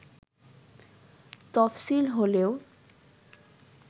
তফসিল হলেও